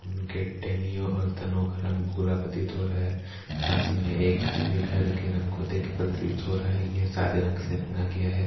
Gate और तनो घरन भुरा प्रतित हो रहा है पासही मे एक घर हैघर के रंग को देख प्रतित हो रहा है ये सादे रंग से रंगा गया है ।